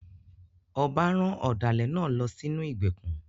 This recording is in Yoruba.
Ọba rán ọ̀dàlẹ̀ náà lọ sínú ìgbèkùn.